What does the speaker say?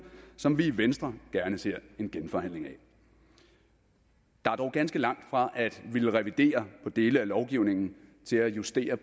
som vi i venstre gerne ser en genforhandling af der er dog ganske langt fra at ville revidere dele af lovgivningen til at ville justere